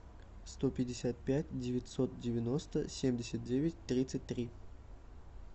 сто пятьдесят пять девятьсот девяносто семьдесят девять тридцать три